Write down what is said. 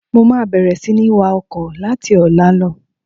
Mo máa bẹ̀rẹ̀ sini wá ọkọ̀ láti ọ̀la lọ.